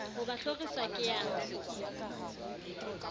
ho ba hlorisa ke a